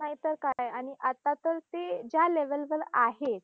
नाहीतर काय! आणि आता तर ते ज्या level वर आहेत.